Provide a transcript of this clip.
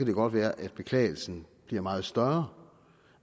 det godt være at beklagelsen bliver meget større